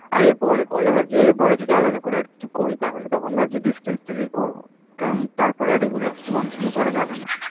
আর এর পরে করলে ভাবছি এর পরে যদি আলাদা করে আর কিছু করি তাহলে তখন ভাবছি distance থেকেই করবো কারণ তার পরে আর regular কিছু continue করা যাবে না।